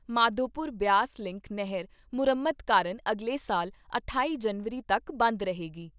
Madhopur Beas link ਨਹਿਰ ਮੁਰੰਮਤ ਕਾਰਨ ਅਗਲੇ ਸਾਲ ਅਠਾਈ ਜਨਵਰੀ ਤੱਕ ਬੰਦ ਰਹੇਗੀ।